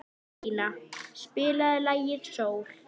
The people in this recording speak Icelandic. Elina, spilaðu lagið „Sól“.